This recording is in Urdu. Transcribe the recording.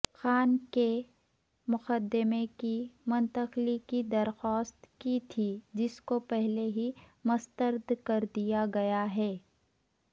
خان کے مقدمے کی منتقلی کی درخواست کی تھی جس کو پہلے ہی مستردکردیاگیاہے